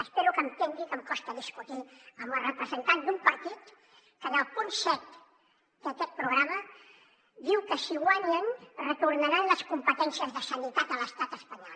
espero que entengui que em costa discutir amb el representant d’un partit que en el punt set d’aquest programa diu que si guanyen retornaran les competències de sanitat a l’estat espanyol